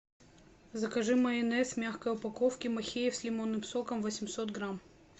закажи майонез в мягкой упаковке махеев с лимонным соком восемьсот грамм